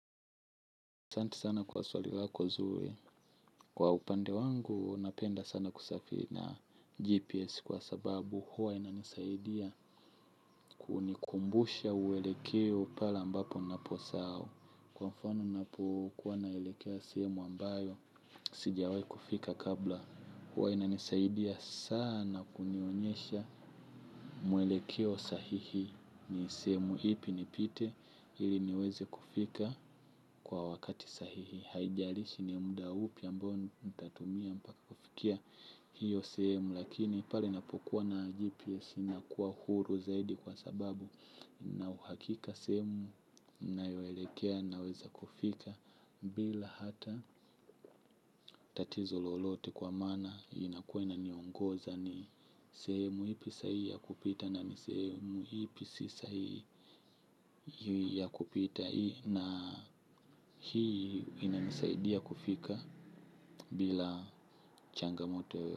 Asante sana kwa swali wako zuri, kwa upande wangu napenda sana kusafi na GPS kwa sababu huwa ina nisaidia kunikumbusha uwelekeo pale ambapo ninaposahau. Kwa mfano napokuwa na elekea sehemu ambayo, sijawai kufika kabla huwa ina nisaidia sana kunionyesha muwelekeo sahihi ni sehemu ipi nipite ili niweze kufika kwa wakati sahihi haijalishi ni mda upi ambao nitatumia mpaka kufikia hiyo sehemu lakini pale napokuwa na GPS nakuwa huru zaidi kwa sababu na uhakika sehemu ninayoelekea naweza kufika bila hata tatizo lolote kwa maana inakuwa na niongoza ni sehemu ipi sahihi ya kupita. Na ni sehemu ipi si sahihi ya kupita hii. Na hii inanisaidia kufika bila changamoto.